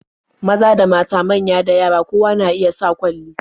Maza da mata, manya da yara, kowa na iya sa kwalli.